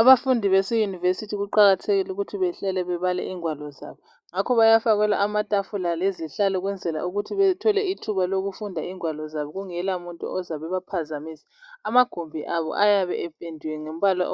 Abafundi bese university kuqakathekile ukuthi behlale bebale ingwalo zabo. Ngakho bayafakelwa amatafula lezihlalo ukwenzela ukuthi bethole ithuba lokufunda ingwalo zabo kungelamuntu ozabebaphazamisa. Amagumbi abo ayabe ependiwe ngombala